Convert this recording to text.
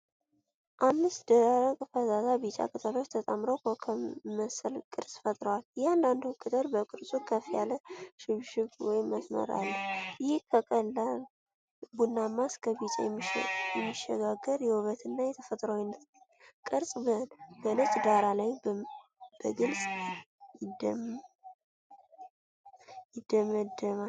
አምስት ደረቅ ፈዛዛ ቢጫ ቅጠሎች ተጣምረው ኮከብ መሰል ቅርጽ ፈጥረዋል። እያንዳንዱ ቅጠል በቅርጹ ከፍ ያለ ሽብሽብ (መስመር) አለው። ይህ ከቀላል ቡናማ እስከ ቢጫ የሚሸጋገር የውበትና የተፈጥሮአዊነት ቅርጽ በነጭ ዳራ ላይ በግልጽ ይደመደማል።